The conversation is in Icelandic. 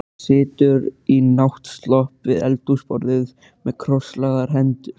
Hún situr í náttslopp við eldhúsborðið með krosslagðar hendur.